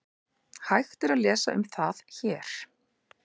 Hægt er að lesa um það HÉR.